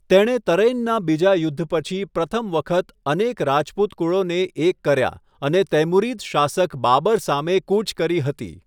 તેણે તરૈનનાં બીજા યુદ્ધ પછી પ્રથમ વખત અનેક રાજપૂત કુળોને એક કર્યા અને તૈમુરીદ શાસક બાબર સામે કૂચ કરી હતી.